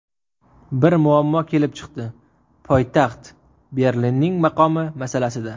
Bir muammo kelib chiqdi – poytaxt Berlinning maqomi masalasida.